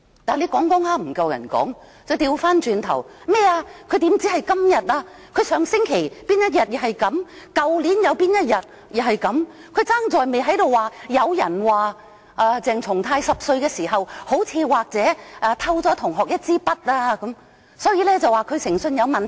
但當她說不過別人時，便說他何只今天，他上星期某一天也是這樣，去年某一天亦如是，只差在沒說聽聞鄭松泰議員10歲時好似、可能偷了同學一枝筆，證明他誠信有問題。